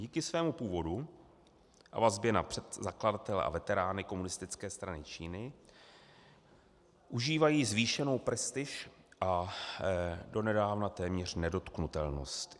Díky svému původu a vazbě na zakladatele a veterány Komunistické strany Číny užívají zvýšenou prestiž a donedávna téměř nedotknutelnost.